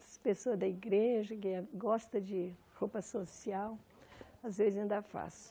As pessoas da igreja ganha gostam de roupa social, às vezes ainda faço.